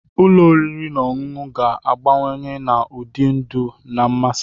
Ụlọ oriri na ọṅụṅụ ga agbanwe na ụdị ndụ na mmasị.